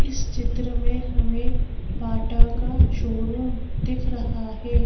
इस चित्र में हमें बाटा का शोरूम दिख रहा है।